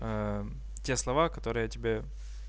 те слова которые я тебе